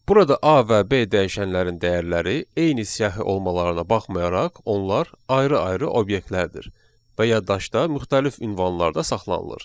Burada A və B dəyişənlərin dəyərləri eyni siyahı olmalarına baxmayaraq onlar ayrı-ayrı obyektlərdir və yaddaşda müxtəlif ünvanlarda saxlanılır.